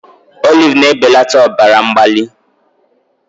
Olive na-ebelata ọbara mgbali